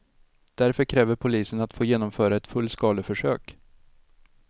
Därför kräver polisen att få genomföra ett fullskaleförsök.